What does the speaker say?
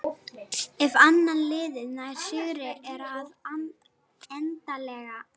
Ef annað liðið nær sigri er það endanlega búið að bjarga sér frá falli.